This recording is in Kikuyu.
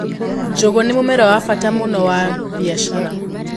Njũgũ nĩ mũmera wa bata mũno wa mbiacara.